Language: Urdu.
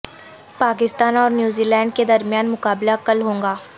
پاکستان اور نیوزی لینڈ کے درمیان مقابلہ کل ہوگا